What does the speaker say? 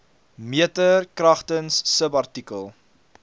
meter kragtens subartikel